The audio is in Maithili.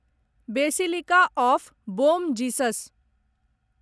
basilica of Bom Jesus